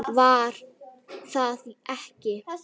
Var það ekki????